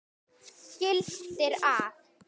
gildir að